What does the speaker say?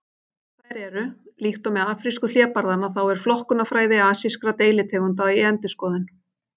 Þær eru: Líkt og með afrísku hlébarðanna þá er flokkunarfræði asískra deilitegunda í endurskoðun.